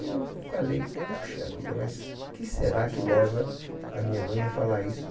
Eu falei, poxa vida, mas o que será que leva a minha mãe a falar isso?